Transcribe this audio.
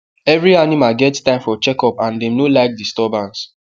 every animal get time for checkup and dem no like disturbance